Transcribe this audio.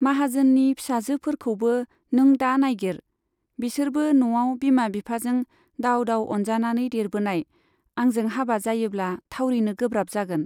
माहाजोननि फिसाजोफोरखौबो नों दा नाइगिर , बिसोरबो न'आव बिमा बिफाजों दाव दाव अनजानानै देरबोनाय , आंजों हाबा जायोब्ला थावरिनो गोब्राब जागोन।